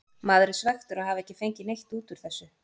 Maður er svekktur að hafa ekki fengið neitt út úr þessu.